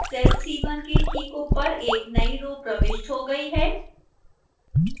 cell c1 के ठीक ऊपर एक नई row प्रविष्ट हो गई है